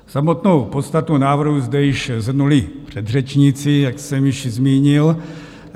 Samotnou podstatu návrhu zde již shrnuli předřečníci, jak jsem již zmínil.